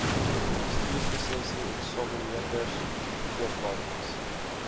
bestuurslisensie eksamineerders verkeersbeamptes